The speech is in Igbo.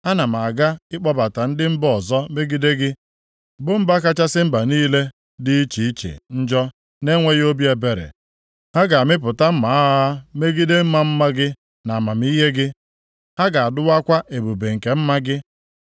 ana m aga ịkpọbata ndị mba ọzọ megide gị, bụ mba kachasị mba niile dị iche iche njọ na-enweghị obi ebere. Ha ga-amịpụta mma agha ha megide ịma mma gị na amamihe gị, ha ga-adụwakwa ebube nke mma gị.